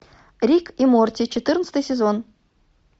рик и морти четырнадцатый сезон